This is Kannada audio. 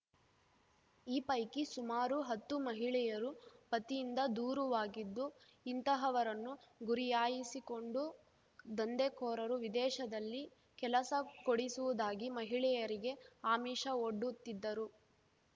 ಈ ಪೈಕಿ ಸುಮಾರು ಹತ್ತು ಮಹಿಳೆಯರು ಪತಿಯಿಂದ ದೂರುವಾಗಿದ್ದು ಇಂತಹವರನ್ನು ಗುರಿಯಾಯಿಸಿಕೊಂಡು ದಂಧೆಕೋರರು ವಿದೇಶದಲ್ಲಿ ಕೆಲಸ ಕೊಡಿಸುವುದಾಗಿ ಮಹಿಳೆಯರಿಗೆ ಆಮಿಷವೊಡ್ಡುತ್ತಿದ್ದರು